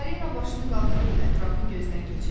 Fəlinə başını qaldırıb ətrafı gözdən keçirdi.